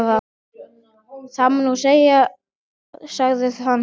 Það má nú segja, sagði hann.